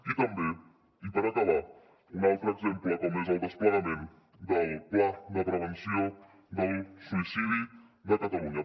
i també i per acabar un altre exemple com és el desplegament del pla de prevenció del suïcidi de catalunya